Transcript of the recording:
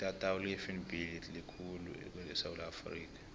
itatawu lefnb litatawu elikhulu khulu esewula afrika